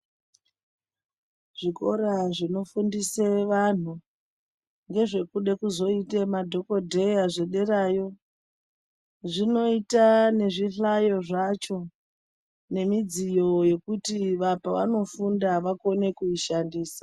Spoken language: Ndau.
Zvikora zvinofundisa vantu kuda kuzoita madhokodheya zvederayo zvinoita nezvihlayo zvacho Nemidziyo yekuti pavanofunda vakone kuishandisa.